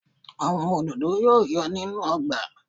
Àwọn òdòdó yóò yọ̀ nínú ọgbà